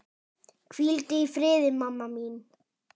Hvíldu í friði, mamma mín.